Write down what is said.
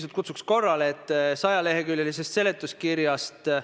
Me kindlasti räägime selle teema ministeeriumis töökoosolekul läbi.